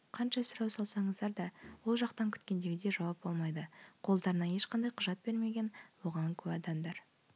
қанша сұрау салсаңыздар да ол жақтан күткендегідей жауап болмайды қолдарына ешқандай құжат бермеген оған куә адамдар